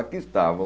Aqui estavam.